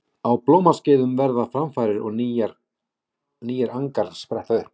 Á blómaskeiðum verða framfarir og nýir angar spretta upp.